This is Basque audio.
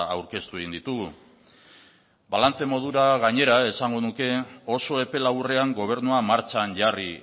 aurkeztu egin ditugu ere balantze modura gainera esango nuke oso epe laburrean gobernua martxan jarri